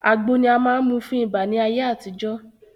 Àgbo ni a máa n mú fún ibà ni ayé àtijọ́